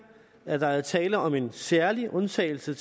at der er tale om en særlig undtagelse